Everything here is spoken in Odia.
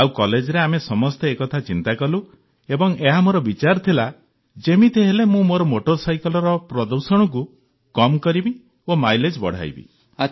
ଆଉ କଲେଜରେ ଆମେ ସମସ୍ତେ ଏକଥା ଚିନ୍ତା କଲୁ ଏବଂ ଏହା ମୋର ବିଚାର ଥିଲା ଯେମିତିହେଲେ ମୁଁ ମୋ ମୋଟର ସାଇକେଲର ପ୍ରଦୂଷଣକୁ କମ୍ କରିବି ଓ ମାଇଲେଜ୍ ବଢ଼ାଇବି